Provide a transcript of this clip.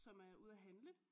Som er ude at handle